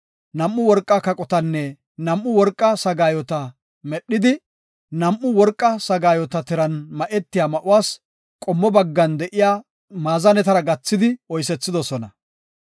Nam7u worqa kaqotanne nam7u worqa sagaayota medhidi, nam7u worqa sagaayota tiran ma7etiya ma7uwas qommo baggan de7iya maazanetara gathidi oysethidosona.